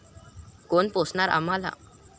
कोण पोसणार आम्हाला?